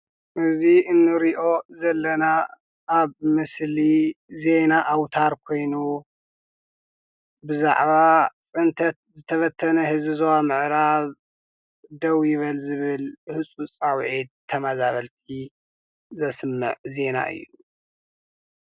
እዚ እንሪኦ ዘለና ኣብ ምስሊ ዜና ኣውታር ኮይኑ ብዛዕባ ፅንተት ዝተበተነ ህዝቢ ዞባ ምዕራብ ደው ይበል ዝብል ህፁፅ ፃዉዔት ተመዛበልቲ ዘስምዕ ዜና እዩ።